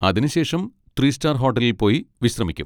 അതിന് ശേഷം three star ഹോട്ടലിൽ പോയി വിശ്രമിക്കും.